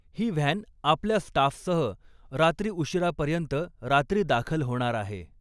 ही van आपल्या स्टाफसह रात्री उशिरापर्यंत रात्री दाखल होणार आहे.